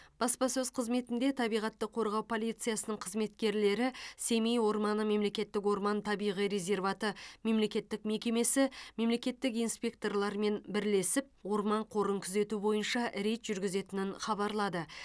баспасөз қызметінде табиғатты қорғау полициясының қызметкерлері семей орманы мемлекеттік орман табиғи резерваты мемлекеттік мекемесі мемлекеттік инспекторларымен бірлесіп орман қорын күзету бойынша рейд жүргізетінін хабарлады